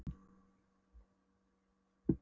Grípur hvítu myndamöppuna úr neðstu hillunni.